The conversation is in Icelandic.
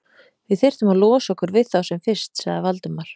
Við þyrftum að losa okkur við þá sem fyrst sagði Valdimar.